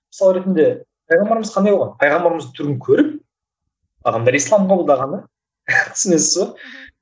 мысалы ретінде пайғамбарымыз қандай болған пайғамбарымызды түрін көріп адамдар ислам қабылдаған да түсінесіз бе мхм